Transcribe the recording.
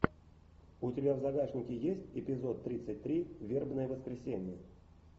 у тебя в загашнике есть эпизод тридцать три вербное воскресенье